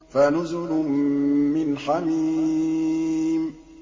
فَنُزُلٌ مِّنْ حَمِيمٍ